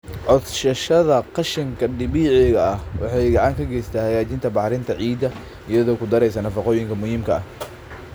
Codsashada qashinka dabiiciga ah waxay gacan ka geysataa hagaajinta bacrinta ciidda iyadoo ku daraysa nafaqooyinka muhiimka ah.